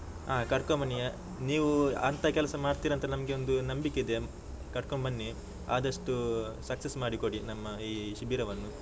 ಆ ಕರ್ಕೊಂಡು ಬನ್ನಿ, ನೀವು ಅಂತ ಕೆಲಸ ಮಾಡ್ತೀರಂತ ನಮಗೆ ಒಂದು ನಂಬಿಕೆ ಇದೆ, ಕರ್ಕೊಂಡು ಬನ್ನಿ, ಆದಷ್ಟು success ಮಾಡಿ ಕೊಡಿ ನಮ್ಮ ಈ ಶಿಬಿರವನ್ನು.